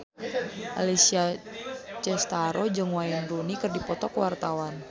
Alessia Cestaro jeung Wayne Rooney keur dipoto ku wartawan